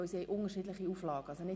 Sie haben unterschiedliche Auflagen.